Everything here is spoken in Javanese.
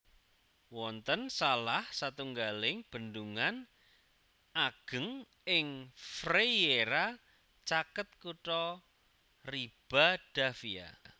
Wonten salah satunggaling bendungan ageng ing Frieira caket kutha Ribadavia